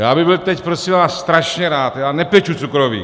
Já bych byl teď, prosím vás, strašně rád - já nepeču cukroví.